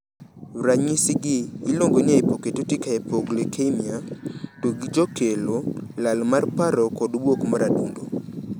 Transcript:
Ranyisi gi iluongo ni hypoketotic hypoglycemia, to gijokelo lal mar paro kod buok mar adundo.